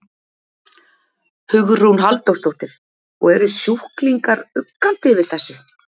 Hugrún Halldórsdóttir: Og eru sjúklingar uggandi yfir þessu?